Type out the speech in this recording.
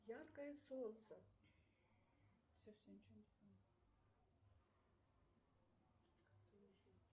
яркое солнце